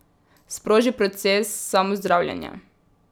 Sproži proces samozdravljenja.